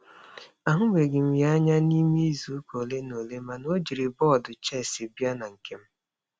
A hụbeghị m ya anya n'ime izuụka ole na ole, ma na o jiri bọọdụ chess bịa na nkem.